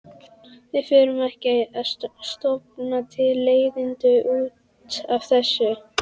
Við förum ekki að stofna til leiðinda út af þessu.